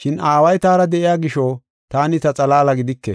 Shin Aaway taara de7iya gisho taani ta xalaala gidike.